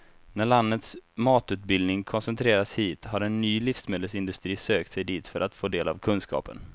När landets matutbildning koncentrerats hit har en ny livsmedelsindustri sökt sig dit för att få del av kunskapen.